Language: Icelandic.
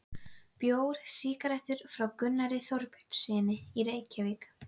Bjór, sígarettur, frá Gunnari Þorbjörnssyni, Reykjavík.